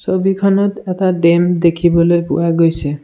ছবিখনত এটা ডেম দেখিবলৈ পোৱা গৈছে।